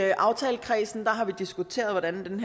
i aftalekredsen har vi diskuteret hvordan